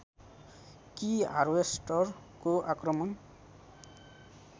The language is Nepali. कि हार्वेस्टरको आक्रमण